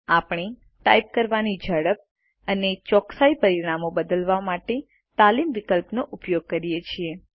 આપણે ટાઇપ કરવાની ઝડપ અને ચોકસાઈ ટાઈપ કરવાની ચોકસાઈ માટેની ટકાવારી પરિમાણો બદલવા માટે તાલીમ વિકલ્પોનો ઉપયોગ કરીએ છીએ